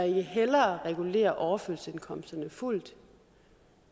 hellere regulere overførselsindkomsterne fuldt